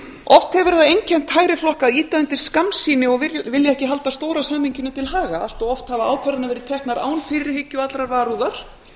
oft hefur það einkennt hægri flokka að ýta undir skammsýni og vilja ekki halda stóra samhenginu til haga allt of oft hafa ákvarðanir verið teknar án fyrirhyggju og allrar varúðar